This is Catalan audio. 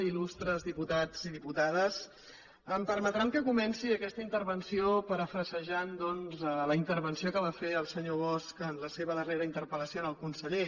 il·lustres diputats i diputades em permetran que comenci aquesta intervenció parafrasejant doncs la intervenció que va fer el senyor bosch en la seva darrera interpel·lació al conseller